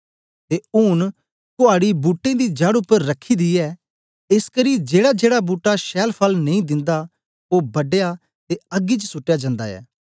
ते ऊन कुआडी बूट्टें दी जड़ उपर रखी दी ऐ एसकरी जेड़ाजेड़ा बूट्टा छैल फल नेई दिंदा ओ बढया ते अग्गी च सुटया जन्दा ऐ